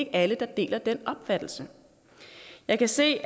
er alle der deler den opfattelse jeg kan se